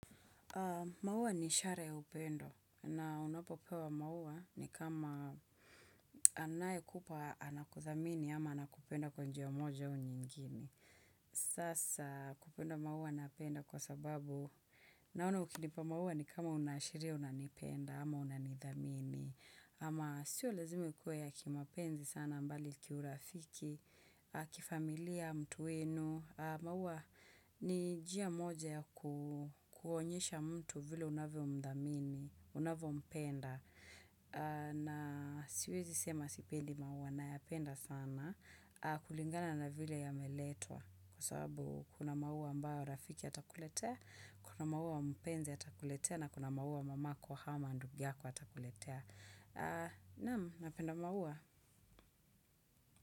Maua ni ishara ya upendo na unapopewa maua ni kama anayekupa anakuthamini ama anakupenda kwa njia moja au nyingine. Sasa kupenda maua napenda kwa sababu naona ukinipa maua ni kama unaashiria unanipenda ama unanidhamini. Ama sio lazima ikuwe ya kimapenzi sana mbali kiurafiki, kifamilia mtu wenu. Maua ni njia moja kuonyesha mtu vile unavyomdhamini, unavyompenda. Na siwezi sema sipendi maua nayapenda sana. Kulingana na vile yameletwa. Kwa sababu kuna maua ambayo rafiki atakuletea, kuna maua mpenzi atakuletea, na kuna maua mamako ama ndugu yako atakuletea. Naam, napenda maua.